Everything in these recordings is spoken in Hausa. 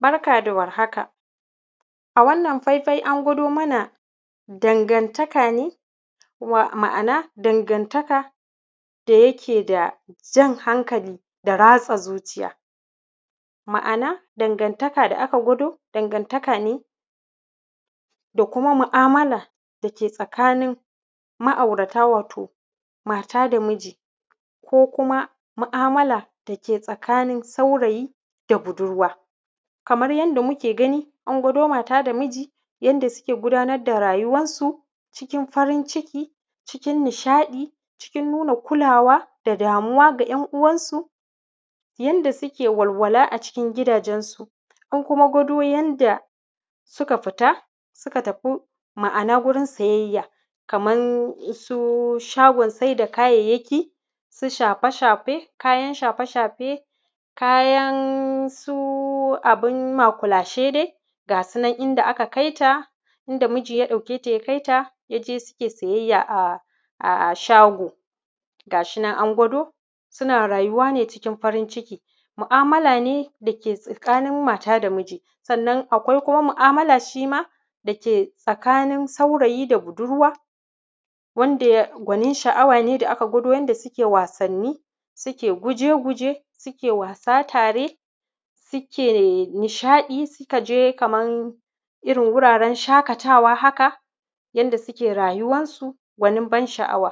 Barka da warhaka, a wannan faifai an gwado mana dangantaka ne, wa; ma’ana dangantaka da yake da jan hankali da ratsa zuciya. Ma’ana, dangantaka da aka gwado, dangantaka ne, da kuma ma’amala da ke tsakanin ma’aurata, wato mata da miji ko kuma ma’amala da ke tsakanin saurayi da budurwa. Kamar yadda muke gani, an gwado mata da miji, yanda suke gudanar da rayuwansu cikin farin ciki, cikin nishaɗi, cikin nuna kulawa da damuwa ga ‘yan’uwansu, yanda sike walwala a cikin gidajensu. Ko kuma, gwado yanda suka fita suka tafu, ma’ana gurin sayayya, kaman su shagon sai da kayayyaki, su shafe-shafe, kayan shafe-shafe, kayan su abin makulashe de. Ga shi nan, inda aka kai ta, inda miji ya ɗauke ta ya kai ta, ya je sike sayayya a; a; a shago. Ga su nan an gwado, sina rayuwa ne cikin farin ciki. Mu’amala ne da ke tsakanin mata da miji, sannan akwai kuma mu’amala shi ma da ke tsakanin saurayi da budurwa, wanda ya; gwanin sha’awa ne da aka gwado, yanda sike wasanni, sike guje-guje, sike wasa tare, sike nishaɗi, sika je kaman irin wuraren shakatawa haka, yanda sike rayuwansu, gwanin ban-sha’awa.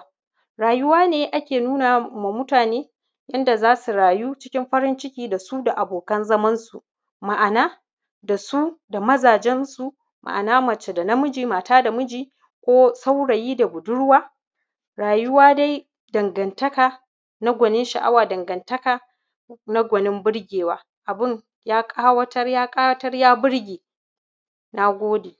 Rayuwa ne ake nuna ma mutane, yanda za su rayu cikin farin ciki da su da abokan zamansu. Ma’ana, da su da mazajensu, ma’ana mace da namiji, mata da miji ko saurayi da budurwa. Rayuwa dai, dangantaka na gwanin sha’awa, dangantaka na gwanin burgewa. Abin, ya ƙawatar ya ƙawatar ya burge, na gode.